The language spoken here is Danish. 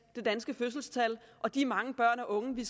det danske fødselstal og de mange børn og unge vi